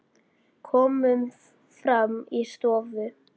Komum fram í stofu.